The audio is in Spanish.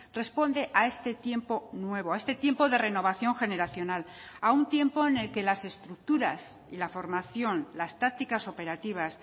responde a este tiempo nuevo a este tiempo de renovación generacional a un tiempo en el que las estructuras y la formación las tácticas operativas